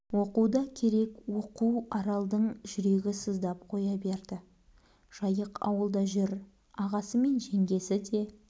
оқу да керек оқу аралдың жүрегі сыздап қоя берді жайық ауылда жүр ағасы мен жеңгесі де